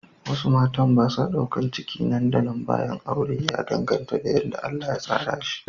Wasu matan ba sa daukar ciki nan da nan bayan aure, ya danganta da yadda Allah ya tsara shi.